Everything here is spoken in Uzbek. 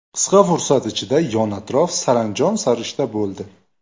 Qisqa fursat ichida yon-atrof saranjom-sarishta bo‘ldi.